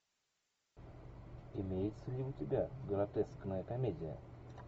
имеется ли у тебя гротескная комедия